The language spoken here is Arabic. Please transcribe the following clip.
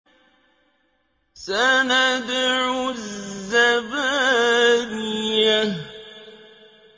سَنَدْعُ الزَّبَانِيَةَ